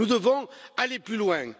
Nous devons aller plus loin.